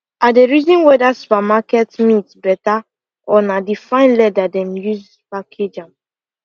i dey reason whether supermarket meat better or na the fine leather dem de use package am